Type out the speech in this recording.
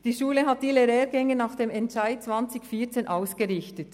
Die Schule hat ihre Lehrgänge nach dem Entscheid aus dem Jahr 2014 ausgerichtet.